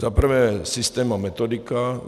Za prvé, systém a metodika.